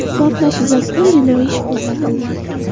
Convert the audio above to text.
Portlash yuzasidan jinoiy ish qo‘zg‘atildi .